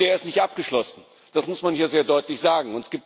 Und die ist nicht abgeschlossen, das muss man hier sehr deutlich sagen.